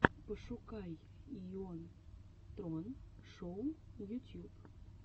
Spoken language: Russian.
пошукай йон трон шоу ютьюб